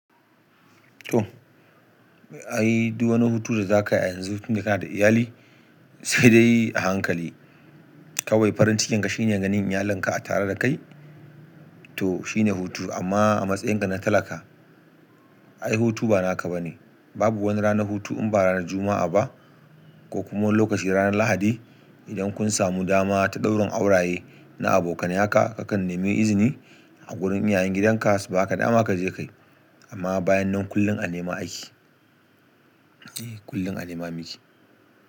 To, ai duk wani hutu da za kai a yanzu tun da kanada iyali sai dai a hankali. Kawai farin cikin ka shine ganin iyalinka a tare da kai to shine hutu amma a matsayin ka na talaka ai hutu banaka bane. Babu wani ranar hutu in ba ranar Juma'a ba ko kuma lokaci ranar Lahadi idan kun samu dama ta ɗaurin auraye na abokanaya ka, kakan nemi izini a wurin iyayen gidanka su baka dama ka je kayi. Amma bayan nan kullum a nema ake. Eh kullum a nema muke.